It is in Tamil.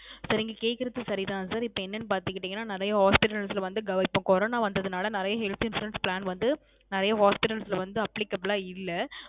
Sir நீங்க கேக்குறது சரி தான் Sir இப்போ என்னனு பாத் துகிட்டிங்கனா நிறைய Hospitals வந்து இப்போ Corona வந்ததுனால நிறைய Health Insurance Plan வந்து நிறைய Hospitals ல வந்து Applicable லா இல்ல